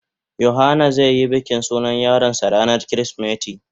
Yohana zai yo bikin sunan yaron sa ranan kirisimeti.